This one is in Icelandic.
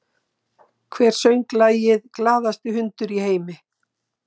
Hver söng lagið “Glaðasti hundur í heimi”?